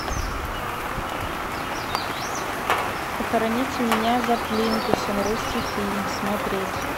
похороните меня за плинтусом русский фильм смотреть